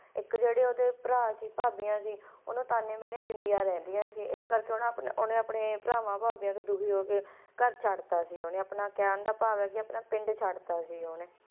ਤੱਕ ਜਿਹੜੇ ਉਹਦੇ ਭਰਾ ਅਤੇ ਭਾਬੀ ਨੂੰ ਵੀ ਉਨ੍ਹਾਂ ਨੇ ਮੇਰੇ ਦਿੰਦੀਆਂ ਰਹਿੰਦੀਆਂ ਹਨ ਜੇਕਰ ਉਹ ਆਪਣੇ ਆਪਣੇ ਭਰਾਵਾਂ ਵਿਰੁੱਧ ਰੋਸ ਪ੍ਰਗਟ ਕਰਦਿਆਂ ਕਿਹਾ ਕਿ ਆਪਣਾ ਪਿੰਡ ਛੱਡ ਸਕਦੇ ਹਨ